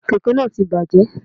Kẹ̀kẹ́ nàà ti bàjẹ́